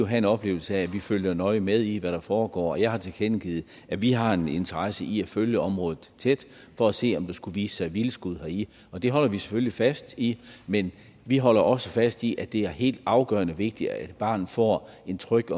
have en oplevelse af at vi følger nøje med i hvad der foregår jeg har tilkendegivet at vi har en interesse i at følge området tæt for at se om der skulle vise sig vildskud og det holder vi selvfølgelig fast i men vi holder også fast i at det er helt afgørende vigtigt at barnet får en tryg